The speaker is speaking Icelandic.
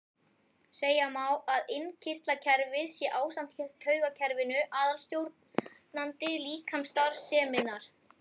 Segja má að innkirtlakerfið sé ásamt taugakerfinu aðalstjórnandi líkamsstarfseminnar.